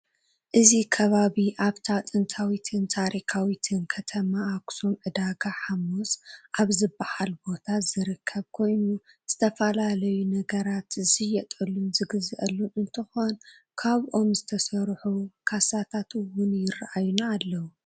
እዚ ከባቢ ኣብታ ጥንታዊትን ታሪካዊትን ከተማ ኣክሱም ዕዳጋ ሓሙስ ኣብ ዝብሃል ቦታ ዝርከብ ኮይኑ ዝተፈለለዩ ነገራት ዝሸየጠሉን ዝግዘኣሉን እንትኮን ካብ ኦም ዝተሰርሑ ካሳታት እውን ይረኣዩና ኣለው።